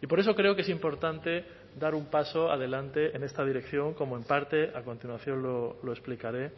y por eso creo que es importante dar un paso adelante en esta dirección como en parte a continuación lo explicaré